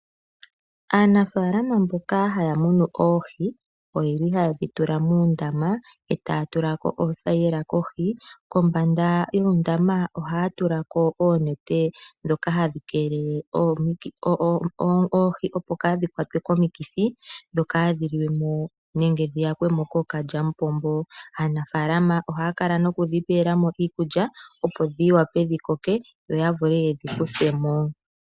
Aanafaalama mboka haya munu oohi, oyeli hayedhi tula muundama eta yatulako oothayila kohi. Kombanda yuundama ohaya tulako oonete dhoka hadhi kelele oohi opo kadhi kwatwe komikithi dhoka dhili mo nenge dhiyakwemo kookalyamupombo. Aanafaalama ohaya kala nokudhi pelamo iikulya opo dhiwape dhikoke yo yavule yedhi kuthemo.